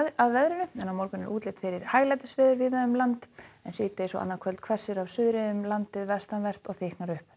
að veðri á morgun er útlit fyrir hæglætisveður víða um land en síðdegis og annað kvöld hvessir af suðri um landið vestanvert og þykknar upp